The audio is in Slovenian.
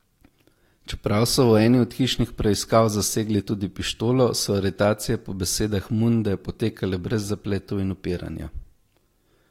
Čeprav so v eni od hišnih preiskav zasegli tudi pištolo, so aretacije po besedah Munde potekale brez zapletov in upiranja.